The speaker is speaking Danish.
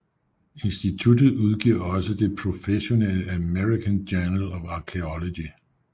Instituttet udgiver også det professionelle American Journal of Archaeology